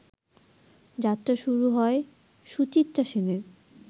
যাত্রা শুরু হয় সুচিত্রা সেনের